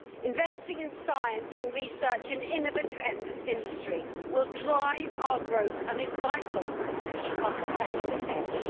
Investment in science, in research and in innovative industry will drive our growth and is vital to keeping our competitive edge.